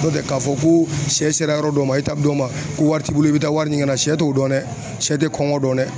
N'o tɛ k'a fɔ ko sɛ sera yɔrɔ dɔ ma dɔ ma ko wari t'i bolo i bɛ taa wari ɲini ka na sɛ t'o dɔn dɛ sɛ tɛ kɔngɔ dɔn dɛ.